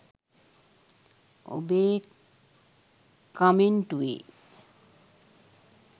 ඔබේ කමෙන්ටුවේ